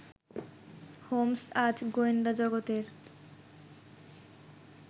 Holmes আজ গোয়েন্দা জগতের